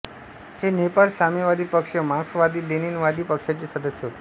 हे नेपाळ साम्यवादी पक्ष मार्क्सवादीलेनिनवादी पक्षाचे सदस्य होते